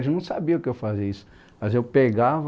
Eles não sabiam que eu fazia isso, mas eu pegava